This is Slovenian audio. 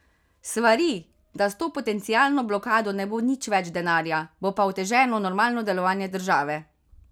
Svari, da s to potencialno blokado ne bo nič več denarja, bo pa oteženo normalno delovanje države.